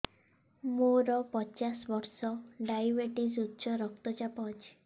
ମୋର ପଚାଶ ବର୍ଷ ଡାଏବେଟିସ ଉଚ୍ଚ ରକ୍ତ ଚାପ ଅଛି